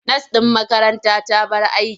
Nas ɗin makaranta ta bar aiki.